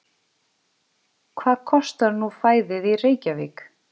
Hvað kostar nú fæðið í Reykjavík?